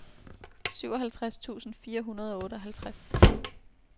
syvoghalvtreds tusind fire hundrede og otteoghalvtreds